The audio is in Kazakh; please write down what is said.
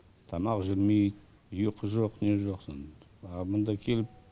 тамақ жемей ұйқы жоқ не жоқ ал мұнда келіп